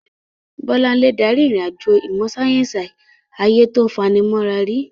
Bolanle darí ìrìn-àjò ìmọ̀ sáyẹ́sì ayé tó fani mọ́ra rí.